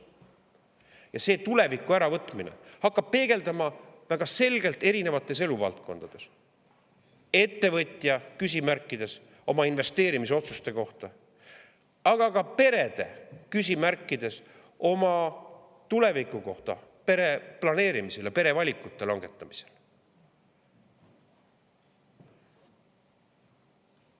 Ja see tuleviku äravõtmine hakkab peegelduma väga selgelt eri eluvaldkondades – ettevõtja küsimärkides, nende oma investeerimisotsuste suhtes, aga ka perede küsimustes oma tuleviku kohta, pere planeerimisel ja pere valikute langetamisel.